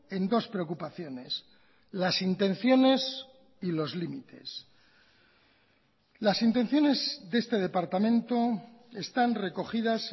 en dos preocupaciones las intenciones y los límites las intenciones de este departamento están recogidas